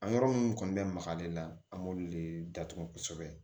A yɔrɔ minnu kɔni bɛ maka ale la an b'olu de datugu kosɛbɛ